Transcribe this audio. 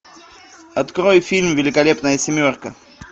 открой фильм великолепная семерка